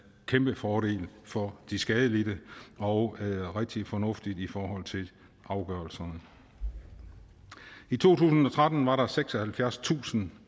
kæmpefordel for de skadelidte og rigtig fornuftigt i forhold til afgørelserne i to tusind og tretten var der seksoghalvfjerdstusind